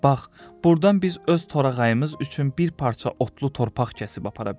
Bax, burdan biz öz torağayımız üçün bir parça otlu torpaq kəsib apara bilərik.